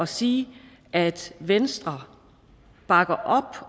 sige at venstre bakker op